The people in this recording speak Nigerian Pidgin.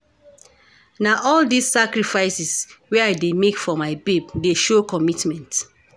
Na all dese sacrifices wey I dey make for my babe dey show commitment.